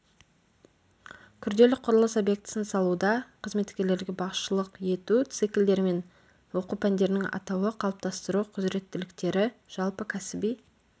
күрделі құрылыс объектісін салуда қызметкерлерге басшылық ету циклдер мен оқу пәндерінің атауы қалыптастыру құзыреттіліктері жалпы кәсіби